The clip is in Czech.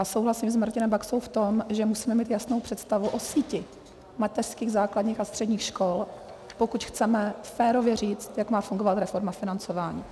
A souhlasím s Martinem Baxou v tom, že musíme mít jasnou představu o síti mateřských, základních a středních škol, pokud chceme férově říct, jak má fungovat reforma financování.